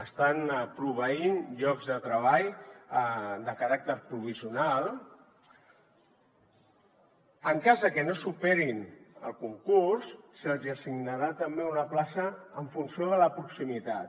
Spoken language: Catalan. estan proveint llocs de treball de caràcter provisional en cas que no superin el concurs se’ls assignarà també una plaça en funció de la proximitat